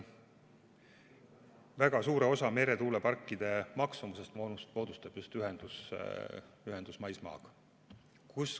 Väga suure osa meretuuleparkide maksumusest moodustab just ühendus maismaaga.